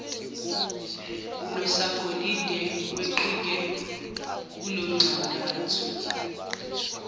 nosagolide weqike kulonxantathu